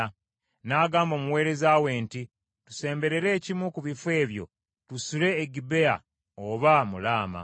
N’agamba omuweereza we nti, “Tusemberere ekimu ku bifo ebyo, tusule e Gibea oba mu Laama.”